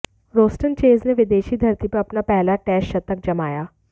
Roston Chase ने विदेशी धरती पर अपना पहला टेस्ट शतक जमाया